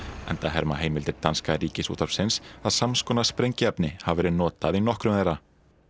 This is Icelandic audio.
enda herma heimildir danska Ríkisútvarpsins að sams konar sprengiefni hafi verið notað í nokkrum þeirra